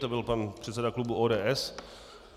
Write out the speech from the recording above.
To byl pan předsedy klubu ODS.